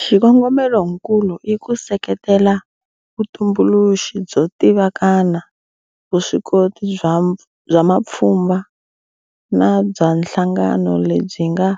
Xikongomelokulu i ku seketela vutumbuluxi byo tivikana, vuswikoti bya mapfhumba na bya nhlangano lebyi nga